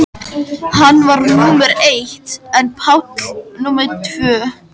Hann var númer eitt en Páll númer tvö.